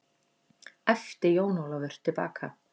æpti Jón Ólafur til baka.